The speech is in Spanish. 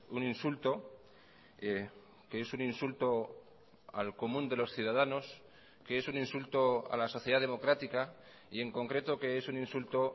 un insulto que es un insulto al común de los ciudadanos que es un insulto a la sociedad democrática y en concreto que es un insulto